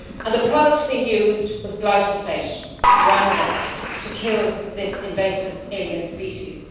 The product being used was glyphosate Roundup to kill this invasive alien species.